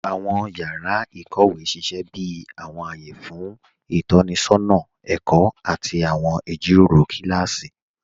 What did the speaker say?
Awọn yàrá íkówe sísẹ̀ bí awọn ayé fún itọnisọna ẹ̀kọ àti awọn ijíròró kilási.